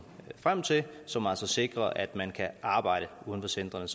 frem til som altså sikrer at man kan arbejde uden for centrene